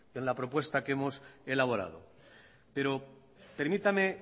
en la propuesta que hemos elaborado pero permítame